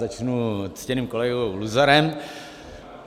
Začnu ctěným kolegou Luzarem.